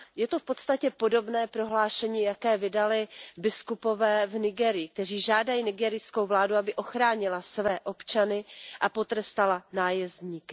Je to v podstatě podobné prohlášení, jaké vydali biskupové v Nigérii, kteří žádají nigerijskou vládu, aby ochránila své občany a potrestala nájezdníky.